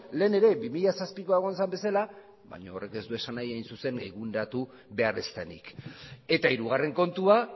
lehen ere bi mila zazpikoa egon zen bezala baina horrek ez du esan nahi hain zuzen eguneratu behar ez denik eta hirugarren kontua